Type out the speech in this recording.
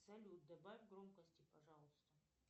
салют добавь громкости пожалуйста